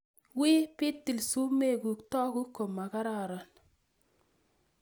Wii pitil sumekuk toku ko makararan